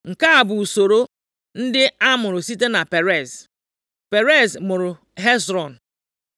Nke a bụ usoro ndị a mụrụ site na Perez. Perez mụrụ Hezrọn